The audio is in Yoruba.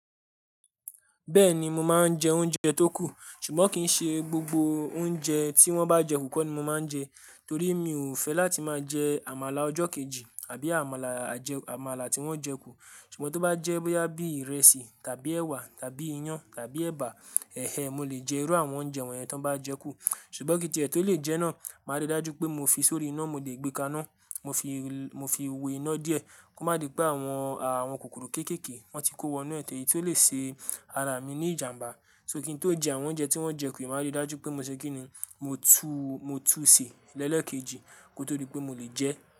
Bẹ́ẹ̀ni, mo máa ń jẹ oúnjẹ tó kù, ṣùgbọ́n kì í ṣe gbogbo oúnjẹ tí wọ́n bá jẹ kù kọ́ ni mo máa ń jẹ, torí mi ò fẹ́ láti máa jẹ àmàlà ọjọ́ kejì àbí àmàlà ajẹ àmàlà tí wọ́n jẹ kù. Ṣùgbọ́n tó bá jẹ́ bóyá bí ìrẹsì tàbí ẹwà tàbí iyán tàbí ẹ̀bà, ẹhé mo lè jẹ irú àwọn oúnjẹ wọ̀nyẹn tó bá jẹ́ kù. Ṣùgbọ́n kí ètè tó lè jẹ́ náà, máa rí dájú pé mo fi sórí iná mo le gbé ká iná, mo fi mo fi we iná díẹ̀ kó má di pé àwọn àwọn kòkòrò kéékèèké wọ́n ti kó wọnú ẹ̀ ti eyìí tí ó lè ṣe ara mi ní ìjà. Nbá. So kí n tó jẹ àwọn oúnjẹ tí wọ́n jẹ kù, ì máa rí dájú pé mo ṣe kí ni mo tú mo tú sè lẹ́lẹ́ kejì kó tó di pé mo lè jẹ ẹ́.